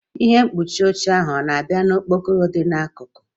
Ihe mkpuchi oche ahụ ọ na-abịa na okporoko dị n'akụkụ?